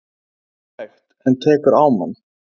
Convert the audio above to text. Það er hægt. en tekur á mann.